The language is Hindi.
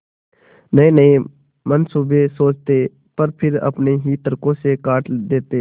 नयेनये मनसूबे सोचते पर फिर अपने ही तर्को से काट देते